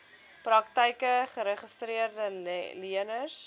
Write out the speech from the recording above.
praktyke geregistreede leners